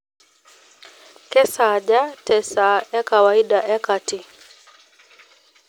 kesaaja te esaa ee kawaida ee kati